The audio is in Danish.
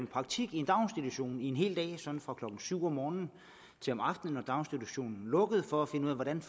praktik i en daginstitution en hel dag sådan fra klokken syv om morgenen til om aftenen når daginstitutionen lukkede for at finde ud af hvordan